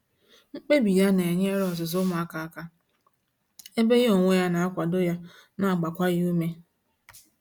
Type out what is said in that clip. Mkpebi ya na enyere ọzụzụ umuaka aka, ebe ya onwe ya na akwado ya na agbakwa ya ume